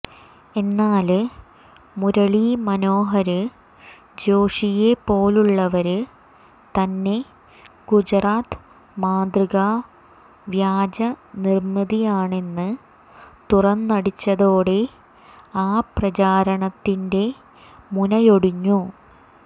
എന്നാല് മുരളീ മനോഹര് ജോഷിയെപ്പോലുള്ളവര് തന്നെ ഗുജറാത്ത് മാതൃക വ്യാജ നിര്മിതിയാണെന്ന് തുറന്നടിച്ചതോടെ ആ പ്രചാരണത്തിന്റെ മുനയൊടിഞ്ഞു